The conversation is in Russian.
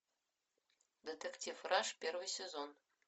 детектив раш первый сезон